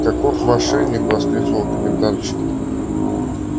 каков мошенник воскликнула комендантша